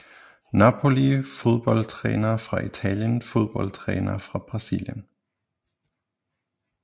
Napoli Fodboldtrænere fra Italien Fodboldtrænere fra Brasilien